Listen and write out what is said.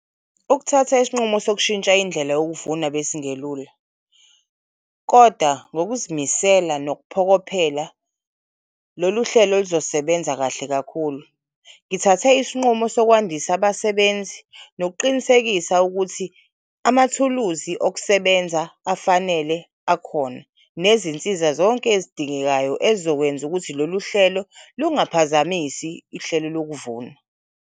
Ukuthatha isinqumo sokushintsha indlela yokuvuna besingelula koda ngokuzimisela nokuphokophela loluhlelo luzosebenza kahle kakhulu. Ngithathe isinqumo sokwandis'abasebenzi nokuqinisekisa ukuthi amathuluzi okusebenza afanele akhona nezinsiza zonke ezidingekayo ezokwenza ukuthi loluhlelo lungaphazamisi ihlelo lokuvuna.